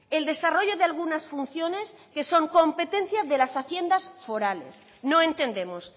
el desarrollo de algunas funciones que son competencia de las haciendas forales no entendemos